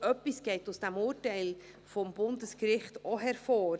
Etwas geht aus dem Urteil des Bundesgerichts auch hervor: